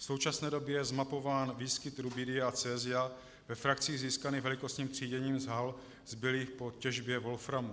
V současné době je zmapován výskyt rubidia a cesia ve frakcích získaných velikostním tříděním z hal zbylých po těžbě wolframu.